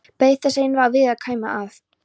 Beið þess eins að Viðar kæmi, að